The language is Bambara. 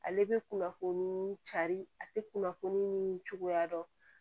Ale bɛ kunnafoni cari a tɛ kunnafoni ni cogoya dɔn